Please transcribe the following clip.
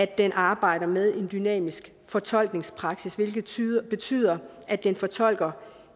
den arbejder med en dynamisk fortolkningspraksis hvilket betyder at den fortolker